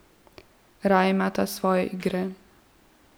Raje imata svoje igre.